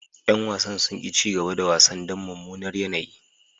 Yan wasan sun ki cigaba da wasan dan mumunar yanayi.